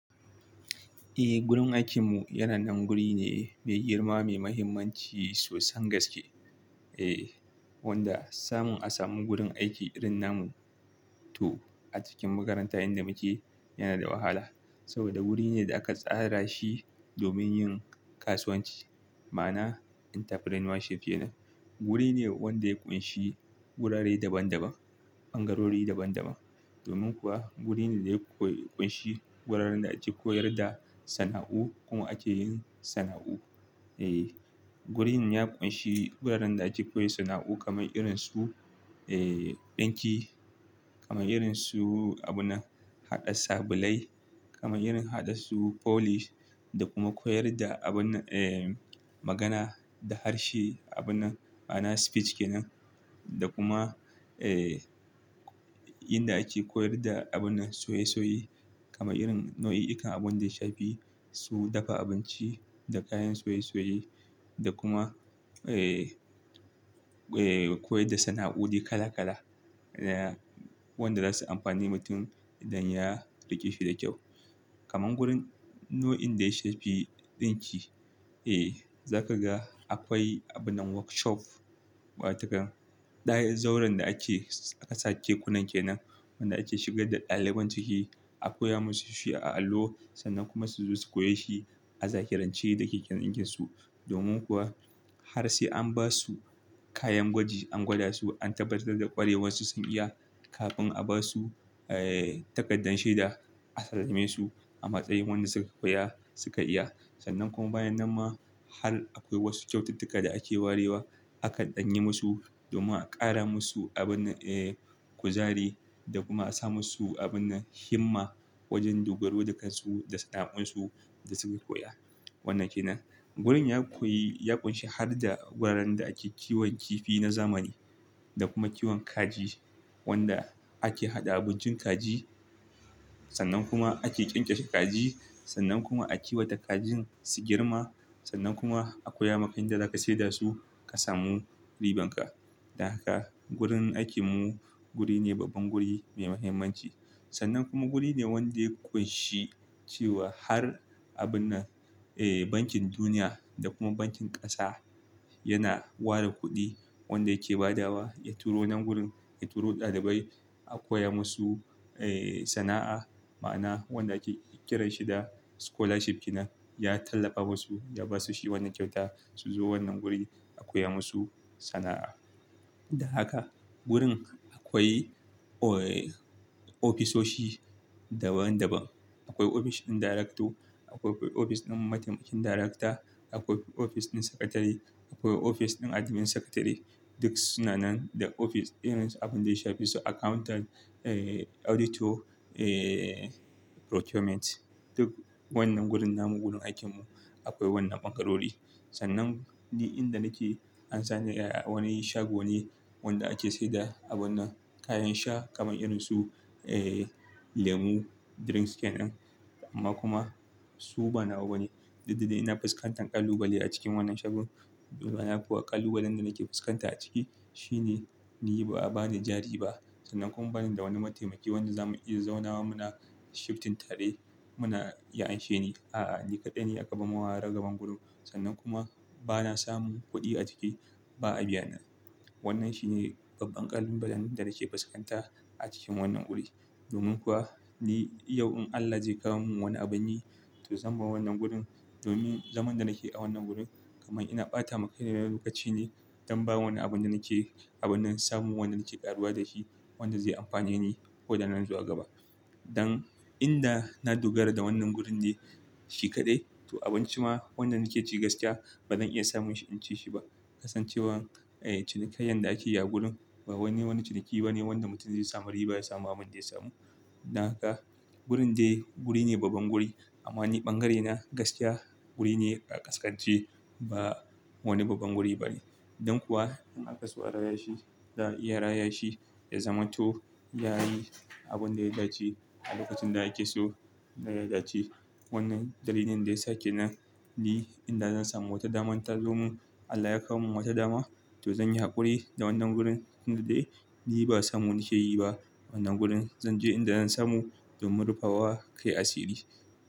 Eh, gurin aikinmu yana nan guri ne mai girma mai mahimmanci sosan gaske. Eh, wanda samun a samu gurin aiki irin namu to a cikin makaranta inda muke yana da wahala. Saboda wuri ne da aka tsara shi domin yin kasuwanci, ma'ana entrepreneurship kenan. Wuri ne wanda ya ƙunshi wurare daban-daban, ɓangarori daban-daban. Domin kuwa wurin ne da ya ƙunshi guraren da ake koyar da sana'u ko ake yin sana'u. Eh, wurin ya ƙunshi guraren da ake koyan sana'u kamar irin su, eh, ɗinki, kamar irin su abun haɗa sabulai, kamar irin haɗa su polish da kuma koyar da abun, eh, magana da harshe, abun nan ma'ana speech kenan. Da kuma, eh, inda ake koyar da abun soyaysoyi kamar irin nau'ikan abun da ya shafi su dafa abinci da kayan soyesoyi da kuma, eh, eh, koyar da sana'o'i kala kala. Eh, wanda zasu amfani mutum idan ya rikeshi da kyau. Kaman gurin nau'in da ya shafi ɗinki, eh, za ka ga akwai abin workshop watakan. Dayar zauren da ake ƙasa kekunan kenan wanda ake shigar da ɗaliban ciki a koya musu shi a allo sannan kuma su zo su koyi shi a zahirance da keken dinkinsu. Domin kuwa har sai an ba su kayan gwaji an gwada su an tabbatar da ƙwarewansu sun iya kafin a ba su, eh, takardar shaida a salamesu a matsayin wanda suka koya suka iya. Sannan kuma bayan nan ma har akwai wasu kyaututtuka da ake warewa aka ɗanyi musu domin a ƙara musu abin, eh, kuzari da kuma a sa musu abin nan himma wajen dogaro da kansu da sana'un su da suke koya. Wannan kenan. Gurin ya koyi, ya ƙunshi har da wuraren da ake kiwon kifi na zamani da kuma kiwon kaji wanda ake haɗa abincin kaji sannan kuma ake ƙyanƙyashe kaji sannan kuma a kiwata kajin su girma sannan kuma a koya maka yadda za ka saida su ka samu riban ka. Da haka gurin aikinmu guri ne babban guri mai mahimmanci. Sannan kuma guri ne wanda ya ƙunshi cewa har abin na, eh, Bankin Duniya da kuma Bankin Ƙasa yana ware kuɗi wanda yake ba dawa ya turo nan gurin, ya turo ɗalibai a koya musu, eh, sana'a. Ma'ana wanda ake kiran shi da scholarship kenan ya tallafa musu ya ba su shi wannan kyauta su zo wannan guri a koya musu sana'a. Da haka gurin akwai, eh, ofisoshi daban-daban. Akwai ofis ɗin darekto, akwai ofis ɗin mataimakin darekta, akwai ofis ɗin sakatare, akwai ofis ɗin admin sakatare, duk su na nan da ofis irin su abin da ya shafi su accountant, eh, auditor, eh, procurement. Duk wannan gurin namun gurin aikinmu akwai wannan ɓangarori. Sannan ni inda nake an sani da wani shago ne wanda ake sayar da abun nan kayan sha kamar irin su, eh, lemu drinks kenan. Amma kuma su banawa bane. Dukda dae ina fuskantan ƙalubale a cikin wannan shagon. Domin na faƙa ƙalubalen da nake fuskanta a ciki shine ni ba a bani jari ba. Sannan kuma bani da wani mataimaki wanda za mu iya zaunawa muna shifting tare muna ya'ashen ni. A'a, ni kaɗai ne a kaba mawa raga ban gurin. Sannan kuma bana samun kuɗi a ciki ba a biya na. Wannan shi ne babban ƙalubalen da nake fuskanta a cikin wannan guri. Domin kuwa ni yau in Allah zai kawo min wani abin ne to zan bar wannan gurin. Domin zaman da nake a wannan guri kamar ina ɓata ma kai na lokaci ne don ba wani abun da nake, abun nan samun wanda nake ƙaruwa da shi wanda zai amfane ni ko da nan zuwa gaba. Dan inda na dogara da wannan gurin ne shi kaɗai to abinci ma wanda nake ci gaskiya ba zan iya samun shi in ci shi ba. Kasancewar, eh, cinikaiya da ake yi a gurin ba wani wani ciniki bane wanda mutum zai samu riba ya samu abin zai samu. Dan haka gurin dai guri ne babban guri amma ni ɓangarena gaskiya guri ne ƙaskanci ba wani babban guri bane. Dan kuwa in aka saurara ya shi da iya raya shi ya zaman to yayi abun da ya dace a lokacin da yake so da ya dace. Wannan dalilin da yasa kenani ni inda zan samu wata dama in ta zo mu, Allah ya kawo min wata dama to zan yi haƙuri da wannan gurin inda dai ni ba samu nake yi ba wannan gurin. Zan je inda zan samu domin rufe wa kai asiri.